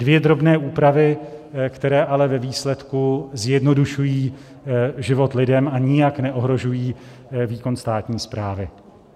Dvě drobné úpravy, které ale ve výsledku zjednodušují život lidem a nijak neohrožují výkon státní správy.